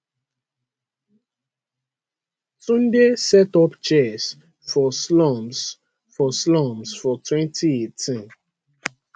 tunde set up chess for slums for slums for 2018